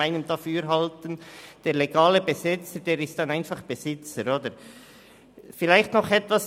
Der legale Besetzer ist dann einfach Besitzer, nicht wahr?